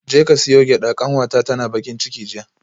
Jeka siyo gyada kanwata tana bakin ciki jiya